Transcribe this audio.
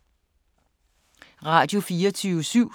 Radio24syv